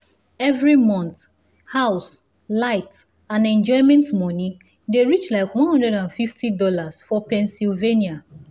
every month house light and enjoyment money dey reach like one hundred and fifty dollars for pennsylvania